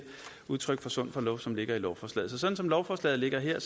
udtryk for sund fornuft som ligger i lovforslaget så som lovforslaget ligger her